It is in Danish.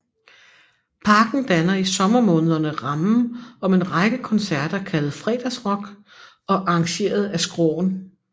Parken danner i sommermånederne rammen om en række koncerter kaldet Fredagsrock og arrangeret af Skråen